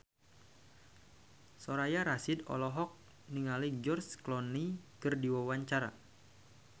Soraya Rasyid olohok ningali George Clooney keur diwawancara